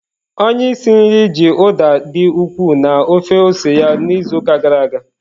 Onye isi nri ji Uda dị ukwuu na ofe ose ya n'izuụka gara aga.